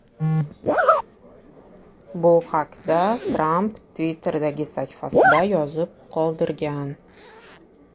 Bu haqda Tramp Twitter’dagi sahifasida yozib qoldirgan .